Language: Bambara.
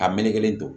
A melekelen don